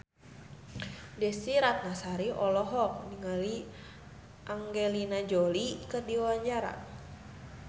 Desy Ratnasari olohok ningali Angelina Jolie keur diwawancara